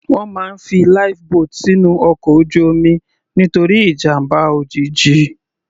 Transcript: Wọ́n máa ń fi Life boat sínú ọkọ̀ ojú omi nítorí ìjàmbá òjijì.